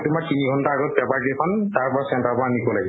তোমাৰ তিনি ঘন্টা আগত paper কেইখন তাৰ পৰা center ৰ পৰা নিব লাগে।